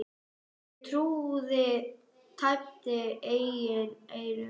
Ég trúði tæpast eigin eyrum.